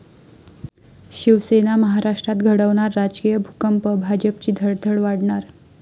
शिवसेना महाराष्ट्रात घडवणार राजकीय भूकंप, भाजपची धडधड वाढणार?